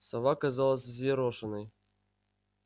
сова казалась взъерошенной